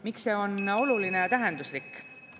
Miks see on oluline ja tähenduslik?